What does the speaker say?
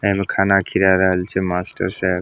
एमे खाना खिला रहल छै मास्टर साहब।